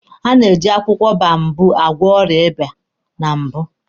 Eji akwụkwọ boababụ gwọ ọrịa ịba na mbụ